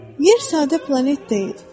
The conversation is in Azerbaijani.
Yer sadə planet deyil.